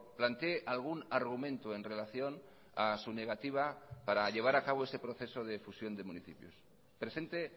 plantee algún argumento en relación a su negativa para llevar a cabo ese proceso de fusión de municipios presente